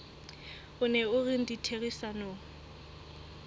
o neng o rena ditherisanong